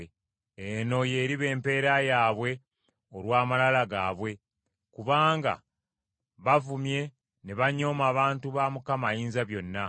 Eno y’eriba empeera yaabwe olw’amalala gaabwe, kubanga bavumye ne banyooma abantu ba Mukama Ayinzabyonna.